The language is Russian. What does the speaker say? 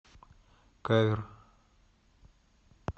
кавер